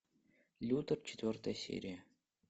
лютер четвертая серия